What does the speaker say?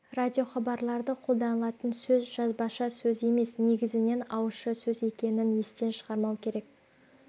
радиохабарларда қолданылатын сөз жазбаша сөз емес негізінен ауызша сөз екенін естен шығармау керек